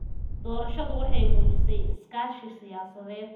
Doorashadu waxay muujisay iskaashi siyaasadeed.